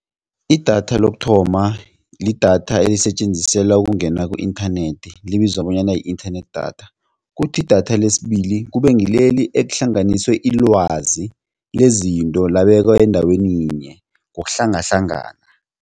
Idatha lokuthoma lidatha elisetjenziselwa ukungena ku-inthanethi libizwa bonyana yi-inthanethi datha kuthi idatha lesibili kube ngileli elihlanganiswe ilwazi lezinto labekwa endaweni yinye ngokuhlangahlangana.